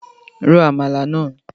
Ro Àmàlà náà!